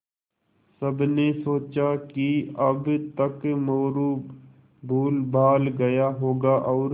सबने सोचा कि अब तक मोरू भूलभाल गया होगा और